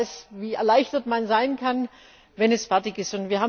Ich weiß, wie erleichtert man sein kann, wenn es fertig ist.